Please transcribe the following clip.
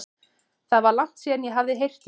Það var langt síðan ég hafði heyrt í þeim.